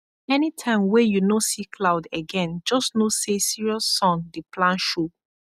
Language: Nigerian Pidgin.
anytime wey you no see cloud again just know say serious sun dey plan show